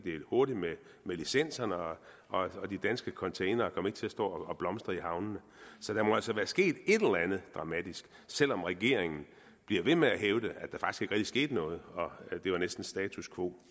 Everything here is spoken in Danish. hurtigt med licenserne og og de danske containere kom ikke til at stå og blomstre i havnene så der må altså være sket et eller andet dramatisk selv om regeringen bliver ved med at hævde at der faktisk skete noget og at det var næsten status quo